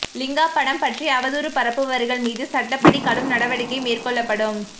லிங்கா படம் பற்றி அவதூறு பரப்புபவர்கள் மீது சட்டப்படி கடும் நடவடிக்கை மேற்கொள்ளப்படும்